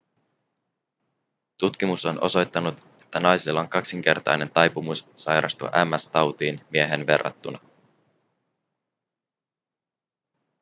tutkimus on osoittanut että naisilla on kaksinkertainen taipumus sairastua ms-tautiin miehiin verrattuna